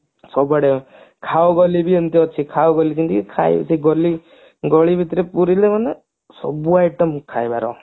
ସବୁଆଡେ ଖାଓ କହିଲେ ଏମତି ଅଛି ଖାଓ ବୋଲି କହିଲି ଖାଇ ଗଲି ପାଣି ଭିତରେ ପୁରୀରେ ମାନେ ସବୁ item ଖାଇବାର